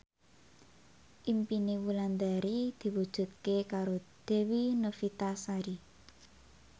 impine Wulandari diwujudke karo Dewi Novitasari